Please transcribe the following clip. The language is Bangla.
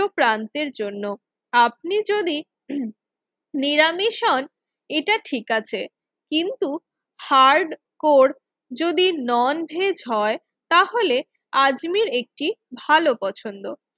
উচ্চ প্রান্তের জন্য আপনি যদি নিরামিষ হন এটা ঠিক আছে কিন্তু হার্ডকোর যদি ননভেজ হয় তাহলে আজমীর একটি ভালো পছন্দ।